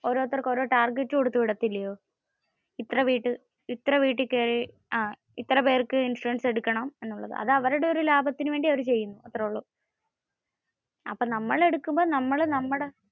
ഓരോരുത്തർക്കും ഓരോ target കൊടുകത്തു വിടത്തില്ലയോ. ഇത്ര വീട്ടിൽ കേറണം, ഇത്ര പേർക്ക് ഇൻഷുറൻസ് എടുക്കണം എന്നുള്ളത്. അത് അവരുടെ ഒരു ലാഭത്തിന് വേണ്ടി അവര് ചെയുന്നു. അത്രേ ഉള്ളു. അപ്പോ നമ്മൾ എടുക്കുമ്പോ നമ്മൾ നമ്മടെ